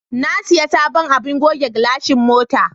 Na sayi sabon abin goge gilashin mota.